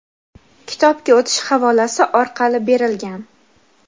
kitobga o‘tish havolasi orqali berilgan.